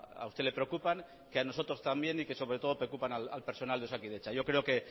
a usted le preocupan que a nosotros también y que sobre todo preocupan al personal de osakidetza yo creo que